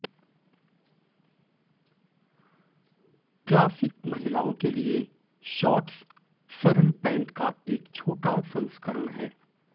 classic महिलाओं के लिए शॉर्ट्स सरल पैंट का एक छोटा संस्करण है